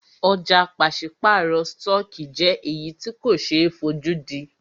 Ọ̀jà pàṣípàrọ̀ stọọkí jẹ́ èyí tí ko ṣe é fojúdí.